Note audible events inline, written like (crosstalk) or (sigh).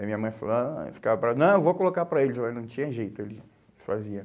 Aí minha mãe falava, ai, (unintelligible) não, eu vou colocar para eles, mas não tinha jeito, ele fazia.